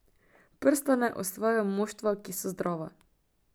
Prstane osvajajo moštva, ki so zdrava.